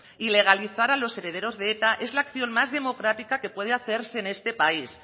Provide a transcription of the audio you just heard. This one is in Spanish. y legalizar a los herederos de eta es la acción más democrática que puede hacerse en este país